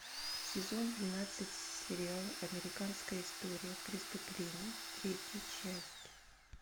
сезон двенадцать сериал американская история преступлений третья часть